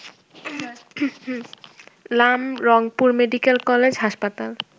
লাম রংপুর মেডিকেলকলেজ হাসপাতাল